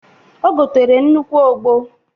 O gotere nnukwu ogbo.